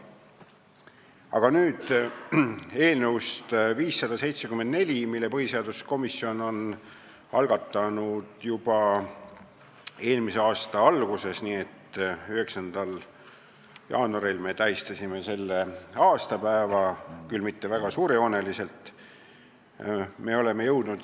Aga nüüd eelnõust 574, mille põhiseaduskomisjon algatas juba eelmise aasta alguses, nii et 9. jaanuaril me tähistasime selle aastapäeva, küll mitte kuigi suurejooneliselt.